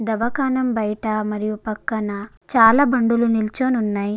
దవాఖాన బయట మరియు పక్కన చాలా బండ్లు నిల్చుని ఉన్నాయి.